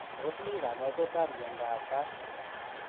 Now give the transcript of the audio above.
Tos mii kanyaiseet ap miondoop PASH?